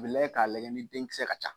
Bɛ lajɛ k'a lajɛ ni denkisɛ ka ca.